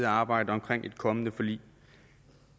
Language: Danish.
og arbejder på et kommende forlig